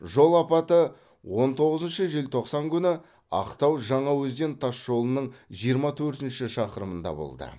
жол апаты он тоғызыншы желтоқсан күні ақтау жаңаөзен тасжолының жиырма төртінші шақырымда болды